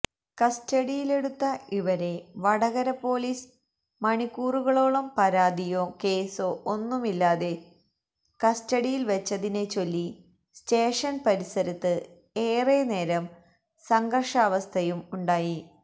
കസ്റ്റഡിയിലെടുത്ത ഇവരെ വടകര പോലീസ് മണിക്കൂറുകളോളം പരാതിയോ കേസോ ഒന്നുമില്ലാതെ കസ്റ്റഡിയില് വെച്ചതിനെച്ചൊല്ലി സ്റ്റേഷന് പരിസരത്ത് ഏറെനേരം സംഘര്ഷാവസ്ഥയും ഉണ്ടായി